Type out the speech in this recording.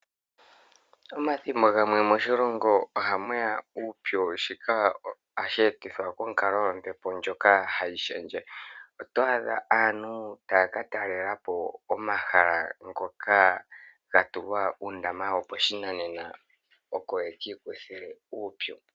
Omathimbo gamwe moshilongo ohamuya uupyu shika ohashi etithwa konkalo yombepo ndyoka tayi shendje oto adha aantu taya katalelapo omahala ngoka gatulwa uundama woposhinanena oko yeki kuthe uupyu.